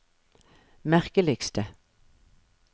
merkeligste